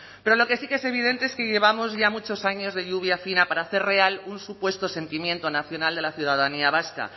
pero lo que sí que es evidente es que llevamos ya muchos años de lluvia fina para hacer real un supuesto sentimiento nacional de la ciudadanía vasca